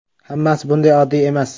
Hammasi bunday oddiy emas.